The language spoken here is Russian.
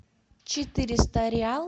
четыреста реал